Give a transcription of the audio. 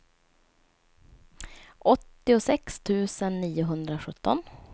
åttiosex tusen niohundrasjutton